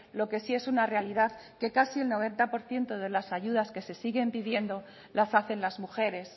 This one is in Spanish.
lo que sí es una realidad que casi el noventa por ciento de las ayudas que se siguen pidiendo las hacen las mujeres